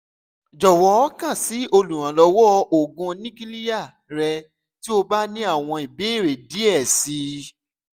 jọwọ kan si oluranlọwọ oogun nukiliya rẹ ti o ba ni awọn ibeere diẹ sii